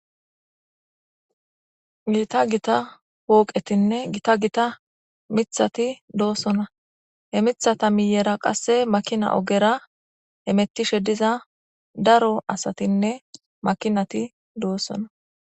gita gita pooqetinne gita gita mithati doosona he mithata miyera qasse makina ogera hemettishe diza daro asatinne makinati doossona